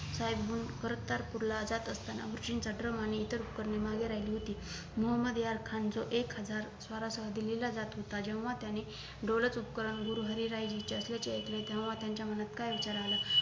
साहेबवरून कर्तारपूरला जात असताना गुरुजींचा द्रम आणि इतर उपकरणे मागे राहिली होती मोहम्मद यार खान जो एक हजार स्वारासहत दिल्लीला जात होता जेंव्हा त्याने दौलत उपकरण गुरु हरी राय साहेब तेंव्हा त्यांच्या मनात काय विचार आला